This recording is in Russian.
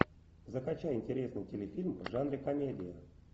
закачай интересный телефильм в жанре комедия